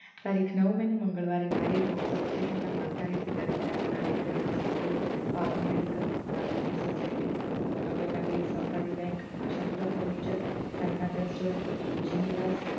તારીખ નવ મે ને મંગળવારે નારી રોડ subtraction ના માલધાર fiddler હેઠણ ના રેલ્વે hospital પવન medical માલધારી society ભાવનગર નાગરિક સહકારી bank આશાપુર ફર્નીચર સાહ્યાનાથ restaurant ઉજીનીવર